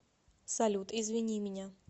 салют извини меня